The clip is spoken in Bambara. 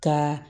Ka